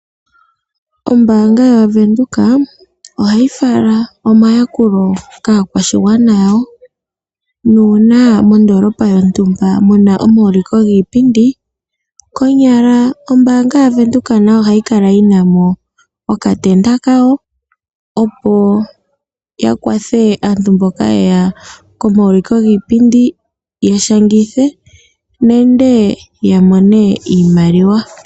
Ombaanga yaVenduka ohayi fala omayakulo kaakwashigwana nuuna mondoolopa yontumba muna omauliko giipindi konyala ombaanga yaVenduka nayo ohayi kala yinamo okatenda kayo opo yakwathe aantu mboka yeya komauliko giipindi ,ya shangithe nenge ya mone iimaliwa.